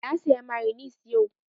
Na saya mayonis yau